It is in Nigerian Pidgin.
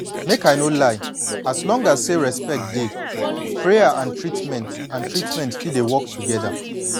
make i no lie as long as say respect dey prayer and treatment and treatment fit dey work together